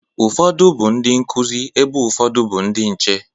Ụfọdụ bụ ndị nkụzi, ebe ụfọdụ bụ ndị nche.